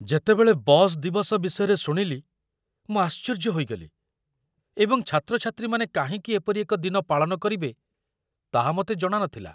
ଯେତେବେଳେ ବସ୍ ଦିବସ ବିଷୟରେ ଶୁଣିଲି ମୁଁ ଆଶ୍ଚର୍ଯ୍ୟ ହୋଇଗଲି, ଏବଂ ଛାତ୍ରଛାତ୍ରୀମାନେ କାହିଁକି ଏପରି ଏକ ଦିନ ପାଳନ କରିବେ ତାହା ମୋତେ ଜଣା ନଥିଲା।